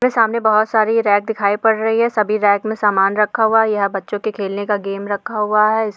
यहाँ सामने बहुत सारी रैक दिखाई पड़ रही है सभी रैक में सामान रखा हुआ है यहाँ बच्चो के खेलने का गेम रखा हुआ है।